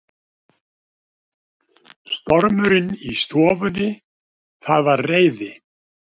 Stormurinn í stofunni, það var reiði